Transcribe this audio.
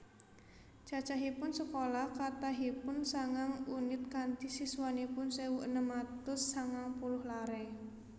Cacahipun sekolah kathahipun sangang unit kanti siswanipun sewu enem atus sangang puluh lare